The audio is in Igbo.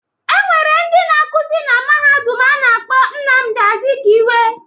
E nwere ndị na-akuzi na Mahadum a na-akpọ Nnamdị Azụkiwe.